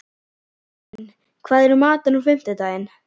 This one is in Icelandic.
Gíslunn, hvað er í matinn á fimmtudaginn?